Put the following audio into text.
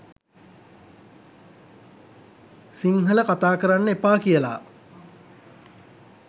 සිංහල කතා කරන්න එපා කියලා